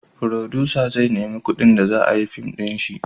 Furodusa zai nemi kudin da za a yi fim da shi